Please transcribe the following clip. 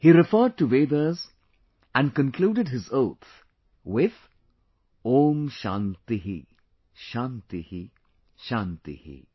He referred to vedas and concluded his oath with "Om Shanti Shanti Shanti"